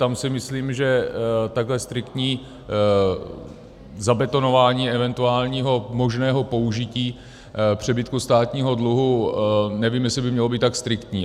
Tam si myslím, že takhle striktní zabetonování eventuálního možného použití přebytku státního dluhu, nevím, jestli by mělo být tak striktní.